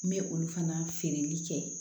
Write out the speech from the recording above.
N bɛ olu fana feereli kɛ